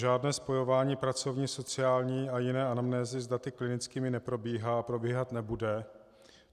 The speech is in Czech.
Žádné spojování pracovní, sociální a jiné anamnézy s daty klinickými neprobíhá a probíhat nebude.